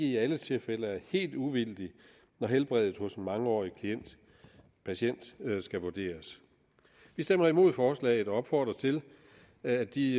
i alle tilfælde er helt uvildig når helbredet hos en mangeårig patient skal vurderes vi stemmer imod forslaget og opfordrer til at de